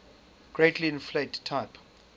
greatly inflate type